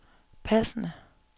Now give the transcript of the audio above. passende